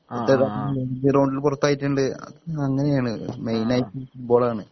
പൊറത്തായിട്ടുണ്ട് അങ്ങനെയാണ് മൈനായിട്ട് ഫുഡ്‌ബോളാണ്